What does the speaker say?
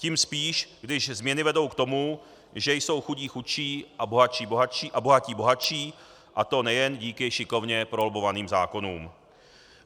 Tím spíš, když změny vedou k tomu, že jsou chudí chudší a bohatí bohatší, a to nejen díky šikovně prolobbovaným zákonům.